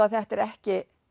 að þetta er ekki